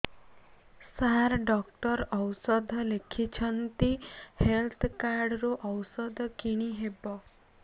ସାର doctor ଔଷଧ ଲେଖିଛନ୍ତି health card ରୁ ଔଷଧ କିଣି ହେବ